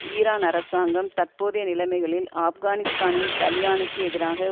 Iran அரசாங்கம் தற்போதைய நிலமைகளில் ஆப்கானிஸ்தானின் தலிபானுக்கு எதிராக